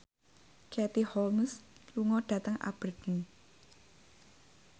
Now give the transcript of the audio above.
Katie Holmes lunga dhateng Aberdeen